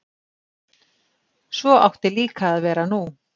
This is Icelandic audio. Svo átti líka að vera nú.